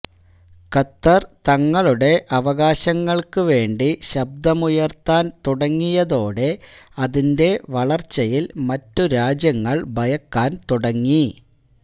ഖത്തര് തങ്ങളുടെ അവകാശങ്ങള്ക്ക് വേണ്ടി ശബ്ദമുയര്ത്താന് തുടങ്ങിയതോടെ അതിന്റെ വളര്ച്ചയില് മറ്റ് രാജ്യങ്ങള് ഭയക്കാന് തുടങ്ങി